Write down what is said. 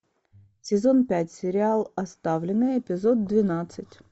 сезон пять сериал оставленные эпизод двенадцать